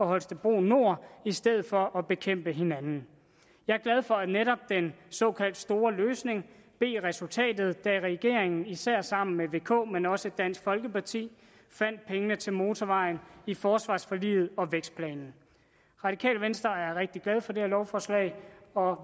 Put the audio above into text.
holstebro nord i stedet for at bekæmpe hinanden jeg er glad for at netop den store løsning blev resultatet da regeringen især sammen med vk men også dansk folkeparti fandt pengene til motorvejen i forsvarsforliget og vækstplanen radikale venstre er rigtig glade for det her lovforslag og